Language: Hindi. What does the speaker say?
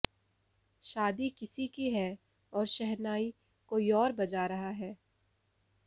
शादी किसी की है और शहनाई कोई और बजा रहा है